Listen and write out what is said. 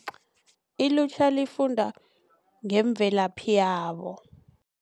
Ilutjha lifunda ngeemvelaphi yabo.